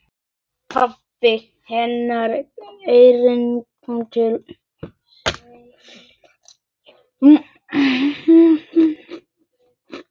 Pabbi hennar hringdi til hennar.